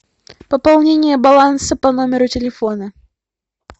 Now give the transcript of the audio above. пополнение баланса по номеру телефона